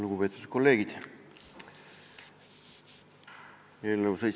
Lugupeetud kolleegid!